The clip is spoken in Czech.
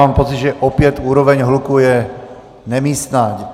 Mám pocit, že opět úroveň hluku je nemístná.